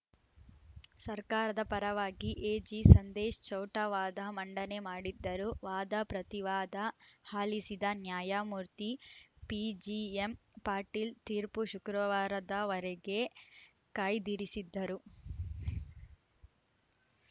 ಸರ್ಕಾರದ ಪರವಾಗಿ ಎಜಿಸಂದೇಶ್‌ ಚೌಟಾ ವಾದ ಮಂಡನೆ ಮಾಡಿದ್ದರು ವಾದಪ್ರತಿವಾದ ಹಾಲಿಸಿದ್ದ ನ್ಯಾಯಮೂರ್ತಿ ಪಿಜಿಎಂಪಾಟೀಲ ತೀರ್ಪು ಶುಕ್ರವಾರದವರೆಗೆ ಕಾಯ್ದಿರಿಸಿದ್ದರು